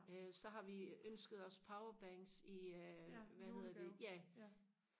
øh så har vi ønsket os powerbanks øh i hvad hedder det ja